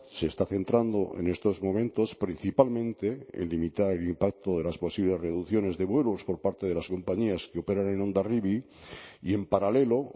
se está centrando en estos momentos principalmente en limitar el impacto de las posibles reducciones de vuelos por parte de las compañías que operan en hondarribia y en paralelo